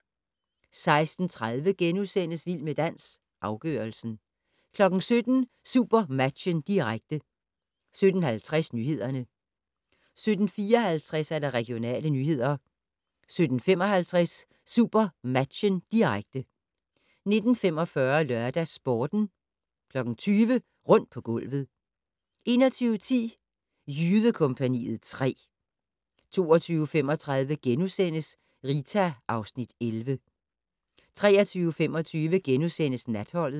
16:30: Vild med dans - afgørelsen * 17:00: SuperMatchen, direkte 17:50: Nyhederne 17:54: Regionale nyheder 17:55: SuperMatchen, direkte 19:45: LørdagsSporten 20:00: Rundt på gulvet 21:10: Jydekompagniet 3 22:35: Rita (Afs. 11)* 23:25: Natholdet *